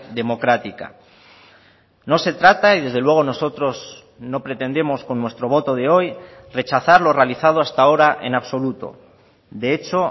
democrática no se trata y desde luego nosotros no pretendemos con nuestro voto de hoy rechazar lo realizado hasta ahora en absoluto de hecho